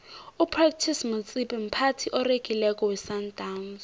upratice motsipe mphathi oregileko wesandawnsi